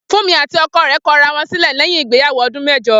Fúnmi àti o̩ko̩ rè̩ ko̩ ara wo̩n sílè̩ lé̩yìn ìgbéyàwó o̩dún mé̩jo̩